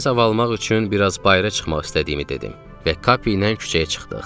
Təmiz hava almaq üçün biraz bayıra çıxmaq istədiyimi dedim və Kapiylə küçəyə çıxdıq.